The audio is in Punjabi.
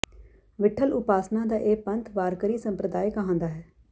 ਵਿੱਠਲ ਉਪਾਸਨਾ ਦਾ ਇਹ ਪੰਥ ਵਾਰਕਰੀ ਸੰਪ੍ਰਦਾਏ ਕਹਾਂਦਾ ਹੈ